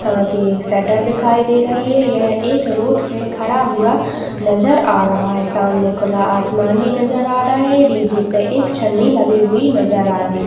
साथ ही एक शटर दिखाईं दे रही है यह एक रोड़ पे खड़ा हुआ नज़र आ रहा है सामने खुला आसमान भी नज़र आ रहा है डीजे पे एक छनी लगी हुई नज़र आ रही--